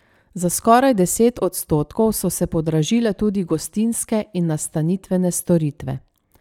Za skoraj deset odstotkov so se podražile tudi gostinske in nastanitvene storitve.